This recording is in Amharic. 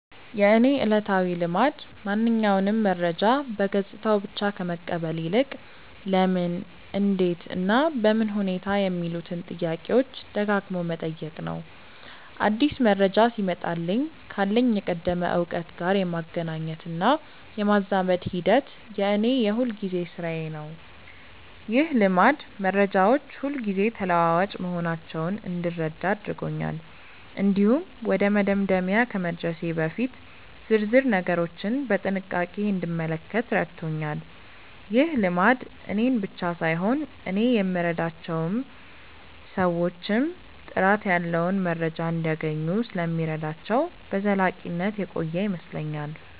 የእኔ ዕለታዊ ልማድ ማንኛውንም መረጃ በገጽታው ብቻ ከመቀበል ይልቅ "ለምን? እንዴት? እና በምን ሁኔታ" የሚሉትን ጥያቄዎች ደጋግሞ መጠየቅ ነው። አዲስ መረጃ ሲመጣልኝ ካለኝ የቀደመ እውቀት ጋር የማገናኘትና የማዛመድ ሂደት የእኔ የሁልጊዜ ሥራዬ ነው። ይህ ልማድ መረጃዎች ሁልጊዜ ተለዋዋጭ መሆናቸውን እንድረዳ አድርጎኛል። እንዲሁም ወደ መደምደሚያ ከመድረሴ በፊት ዝርዝር ነገሮችን በጥንቃቄ እንድመለከት ረድቶኛል። ይህ ልማድ እኔን ብቻ ሳይሆን እኔ የምረዳቸውን ሰዎችም ጥራት ያለው መረጃ እንዲያገኙ ስለሚረዳቸው በዘላቂነት የቆየ ይመስለኛል።